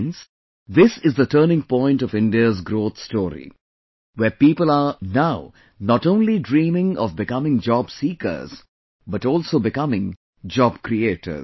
Friends, this is the turning point of India's growth story, where people are now not only dreaming of becoming job seekers but also becoming job creators